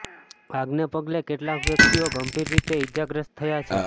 આગને પગલે કેટલાક વ્યક્તિઓ ગંભીર રીતે ઈજાગ્રસ્ત થયા છે